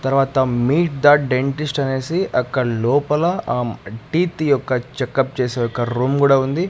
తర్వాత meet the dentist అనేసి అక్కడ లోపల ఆ టీత్ యొక్క చెక్ అప్ చేసే యొక్క రూమ్ కూడా ఉంది.